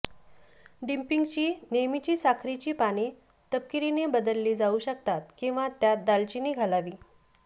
डिपिंगची नेहमीची साखरेची पाने तपकिरीने बदलली जाऊ शकतात किंवा त्यात दालचिनी घालावी